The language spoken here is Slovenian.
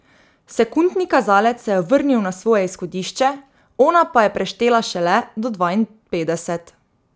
Sekundni kazalec se je vrnil na svoje izhodišče, ona pa je preštela šele do dvainpetdeset.